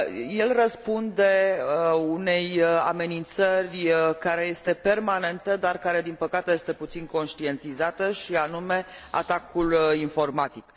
El răspunde unei amenințări care este permanentă, dar care, din păcate, este puțin conștientizată, și anume atacul informatic.